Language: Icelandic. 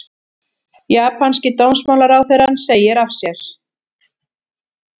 Japanski dómsmálaráðherrann segir af sér